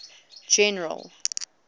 general